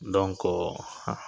Donko